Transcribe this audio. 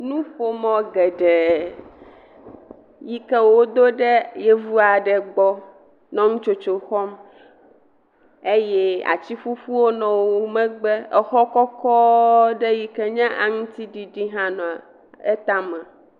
Nuƒomɔ̃ geɖee yi ke woɖo ɖe Yevu aɖe gbɔ nɔ nutsotso xɔm eye atsiƒuƒuwo nɔ wo megbe. Exɔ kɔkɔɔɔ ɖe yi ke nye aŋutiɖiɖi hã nɔ etame.